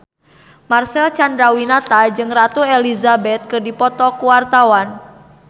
Marcel Chandrawinata jeung Ratu Elizabeth keur dipoto ku wartawan